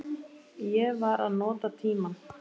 Ég var að nota tímann.